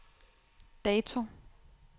dato